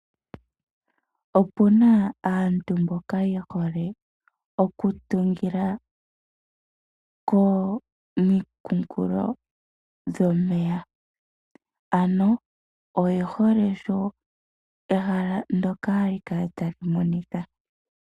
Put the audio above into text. Opuna aantu mboka ye hole okutungila komikunkilo dhomeya, ano oye hole sho ehala ndoka hali kala ta li monika.